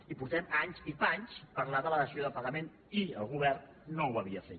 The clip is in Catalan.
i fa anys i panys que parlem de la dació en pagament i el govern no ho havia fet